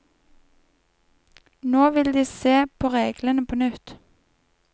Nå vil de se på reglene på nytt.